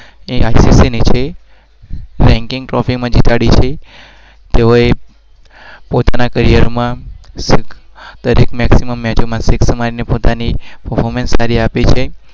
ની છે